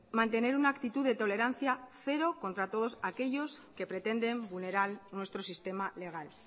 mantener una actitud de tolerancia cero contra todos aquellos que pretenden vulnerar nuestro sistema legal